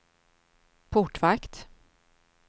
portvakt